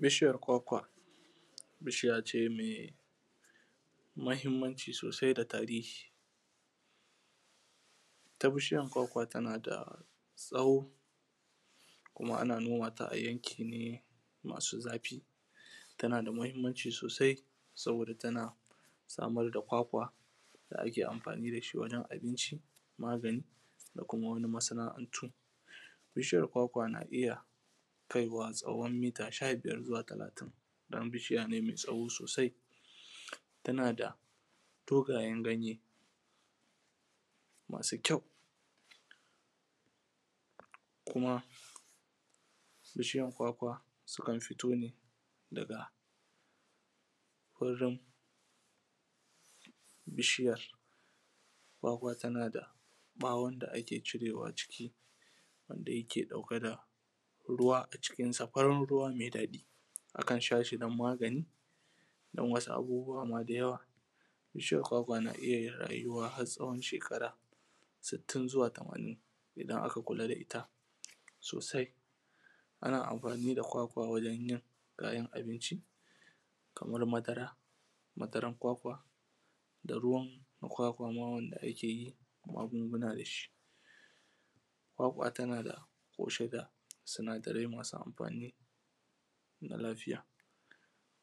bishiyar kwakwa bishiya ce mai muhimmanci sosai da tarihi ita bishiyar kwakwa tana da tsawo kuma ana noma ta a yanki ne masu zafi tana da muhimmanci sosai saboda tana samar da kwakwa da ake amfani da shi wurin abinci magani da kuma wani masana’antu bishiyar kwakwa na iya kaiwa tsawon mita sha biyar zuwa talatin don bishiya ne mai tsawo sosai yana da dogayen ganye masu kyau kuma bishiyar kwakwa sukan fito ne daga wurin bishiya kwakwa tana da ɓawon da ake cirewa a cikin wanda yake ɗauke da ruwa a cikinsa farar ruwa mai daɗi akan sha shi don magani don wasu abubuwa ma da yawa bishiyar kwakwa na iya yin rayuwa har tsawon shekara sittin zuwa tamanin idan aka kula da ita sosai ana amfani da kwakwa wajan yin kayan abinci kamar madara madarar kwakwa da ruwan kwakwa ma wanda ake yin magunguna da shi kwakwa tana da ƙunshe da sinadarai masu amfani da lafiya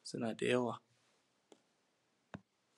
suna da yawa